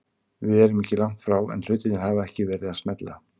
Við erum ekki langt frá en hlutirnir hafa ekki verið að smella.